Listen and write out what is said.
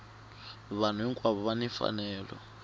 vanhu hinkwavo va ni mfanelo